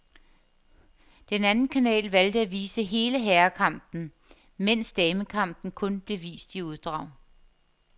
Den anden kanal valgte at vise hele herrekampen, mens damekampen kun blev vist i uddrag.